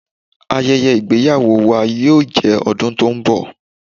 Àyèyè igbèyàwó wà yóò jẹ́ ọdún tó nbọ̀.